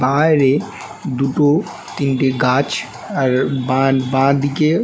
বাইরে দুটো তিনটে গাছ আর বাঁ বাদিকে--